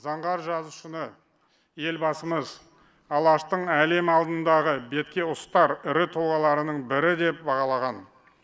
заңғар жазушыны елбасымыз алаштың әлем алдындағы беткеұстар ірі тұлғаларының бірі деп бағалаған